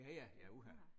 Ja ja ja uha